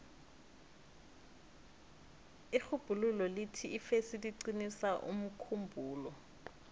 irhubhululo lithi ifesi iqinisa umkhumbulo